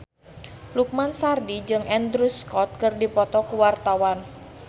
Lukman Sardi jeung Andrew Scott keur dipoto ku wartawan